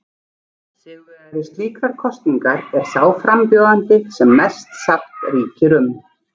Sigurvegari slíkrar kosningar er sá frambjóðandi sem mest sátt ríkir um.